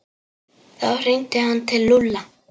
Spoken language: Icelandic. Þá hringdi hann til Lúlla.